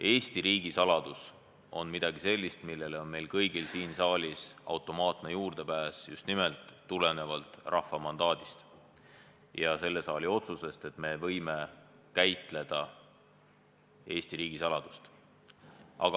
Eesti riigisaladus on midagi sellist, millele on meil kõigil siin saalis automaatne juurdepääs, just nimelt tulenevalt rahva mandaadist ja selle saali otsusest, et me võime käsitleda Eesti riigisaladust.